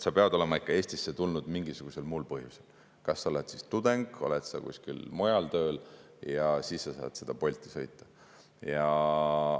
Ta peab olema ikka Eestisse tulnud mingisugusel muul põhjusel: kas ta on tudeng või ta on kuskil mujal tööl, ja siis ta saab Bolti sõita.